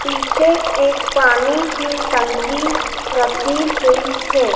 पीछे एक पानी की टंकी रखी हुई है।